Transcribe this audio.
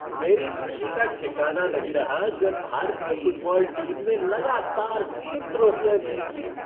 मेरी खुशी का ठिकाना नहीं रहा जब भारतीय फ़ुटबॉल टीम ने लगातार तीन ट्राफ़ियाँ जीत लीं।